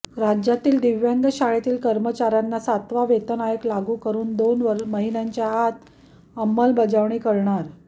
राज्यातील दिव्यांग शाळेतील कर्मचाऱ्यांना सातवा वेतन आयोग लागू करून दोन महिन्यांच्या आत अंमलबजावणी करणार